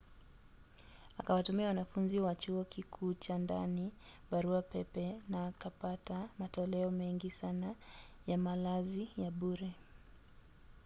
akawatumia wanafunzi wa chuo kikuu chaa ndani barua pepe na akapata matoleo mengi sana ya malazi ya bure